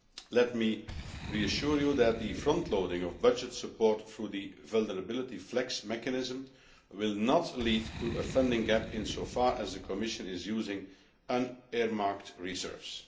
Let me reassure you that the frontloading of budget support through the Vulnerability FLEX mechanism will not lead to a funding gap insofar as the Commission is using non earmarked reserves.